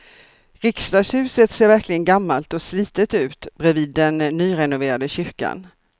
Riksdagshuset ser verkligen gammalt och slitet ut bredvid den nyrenoverade kyrkan.